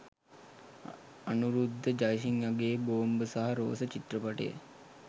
අනුරුද්ධ ජයසිංහගේ ‘‘බෝම්බ සහ රෝස’’චිත්‍රපටය